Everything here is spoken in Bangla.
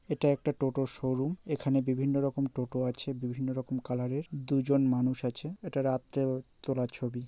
এটা একটা টোটোর শোরুম । এখানে বিভিন্ন রকম টোটো আছে বিভিন্ন রকম কালার -এর। দুজন মানুষ আছে। এটা রাত্রে ও তোলা ছবি ।